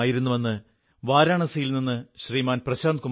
അവരെ ഓർത്തുകൊണ്ടുവേണം നമുക്ക് ഉത്സവം ആഘോഷിക്കാൻ